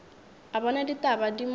a bona ditaba di mo